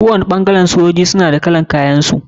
Kowani ɓangaren sojoji suna da kalan kayan su.